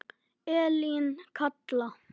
Elín Katla.